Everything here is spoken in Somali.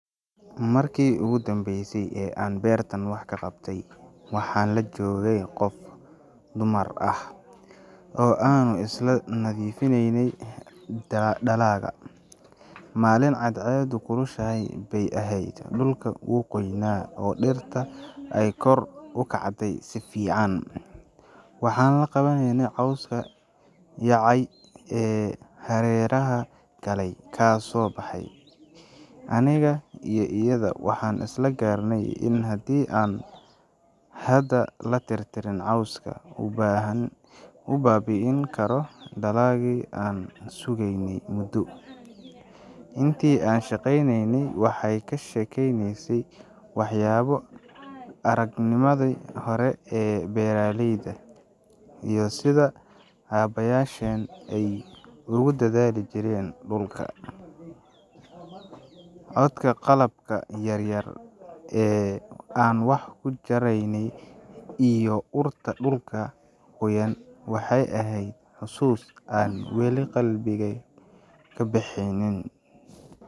Markii ugu dambeysay ee aan beerta wax ka qabtay, waxaan la joogay qof dumar ah oo aanu isla nadiifinaynay dalagga. Maalin cadceeddu kulushahay bay ahayd, dhulka wuu qoynaa oo dhirta ay kor u kacday si fiican. Waxaan la qabannay cawska yaacay ee hareeraha galleyda kasoo baxay. Aniga iyo iyada waxaan isla garanay in haddii aan hadda la tirtirin cawska, uu baabi’in karo dalaggii aan sugaynay muddo. Intii aan shaqaynaynay, waxaan ka sheekeysanaynay waxyaabo aragnimadii hore ee beeralayda, iyo sida aabbayaasheen ay ugu dadaali jireen dhulka. Codka qalabka yaryar ee aan wax ku jaraynay iyo urta dhulka qoyan waxay ahayd xusuus aan weli qalbigey ka bexeenin.